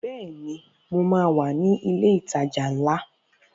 Bẹ́ẹ̀ni, mo wà ní ilẹ̀ ìtajà ńlá